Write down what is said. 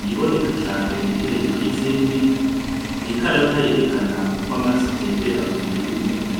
iyiboneka cane iri hejuru yizindi n'ikarata yerekana uko amaraso atembera m'umubiri w'umuntu.